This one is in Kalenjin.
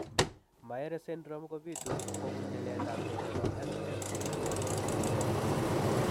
Myhre syndrome kobitu kobun nyiletabge nebo SMAD4 gene